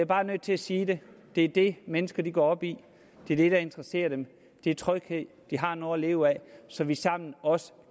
bare nødt til at sige det det er det mennesker går op i det er det der interesserer dem det er tryghed at de har noget at leve af så vi sammen også